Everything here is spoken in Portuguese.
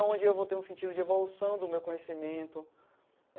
Aonde eu vou ter um sentido de evolução do meu conhecimento.